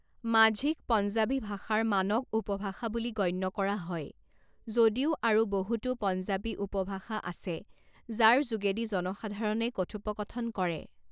মাঝীক পঞ্জাবী ভাষাৰ মানক উপভাষা বুলি গণ্য কৰা হয় যদিও আৰু বহুতো পঞ্জাবী উপভাষা আছে যাৰ যোগেদি জনসাধাৰণে কথোপকথন কৰে।